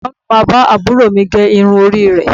Ẹ̀gbọ́n mi máa bá àbúrò mi gé irun orí rẹ̀